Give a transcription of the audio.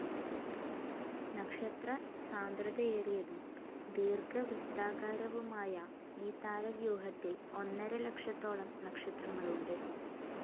നക്ഷത്രസാന്ദ്രതയേറിയതും ദീർഘവൃത്താകാരവുമായ ഈ താരവ്യൂഹത്തിൽ ഒന്നര ലക്ഷത്തോളം നക്ഷത്രങ്ങളുണ്ട്.